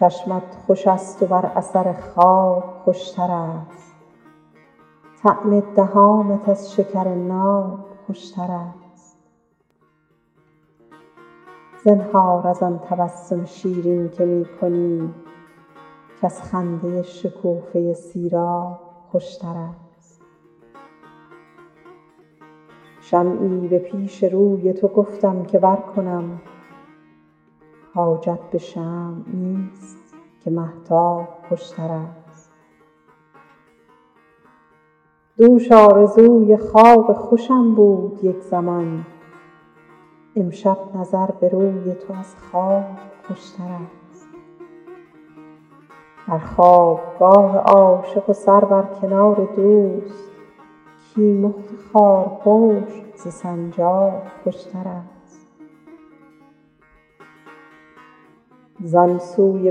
چشمت خوش است و بر اثر خواب خوش تر است طعم دهانت از شکر ناب خوش تر است زنهار از آن تبسم شیرین که می کنی کز خنده شکوفه سیراب خوش تر است شمعی به پیش روی تو گفتم که برکنم حاجت به شمع نیست که مهتاب خوش تر است دوش آرزوی خواب خوشم بود یک زمان امشب نظر به روی تو از خواب خوش تر است در خواب گاه عاشق سر بر کنار دوست کیمخت خارپشت ز سنجاب خوش تر است زان سوی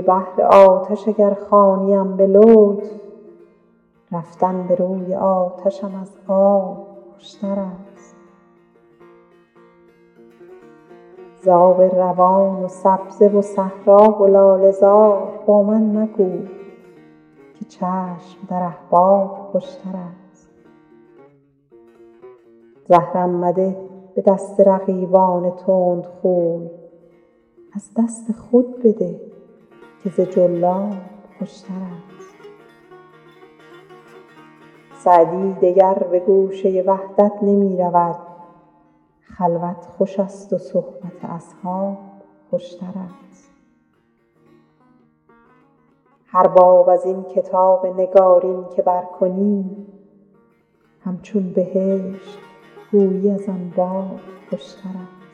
بحر آتش اگر خوانیم به لطف رفتن به روی آتشم از آب خوش تر است ز آب روان و سبزه و صحرا و لاله زار با من مگو که چشم در احباب خوش تر است زهرم مده به دست رقیبان تندخوی از دست خود بده که ز جلاب خوش تر است سعدی دگر به گوشه وحدت نمی رود خلوت خوش است و صحبت اصحاب خوش تر است هر باب از این کتاب نگارین که برکنی همچون بهشت گویی از آن باب خوشترست